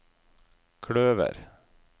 kløver